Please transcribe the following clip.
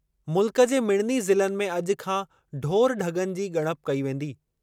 मुल्क जे मिड़नि ज़िलनि में अॼु खां ढोर-ढग॒नि जी ग॒णप कई वेंदी।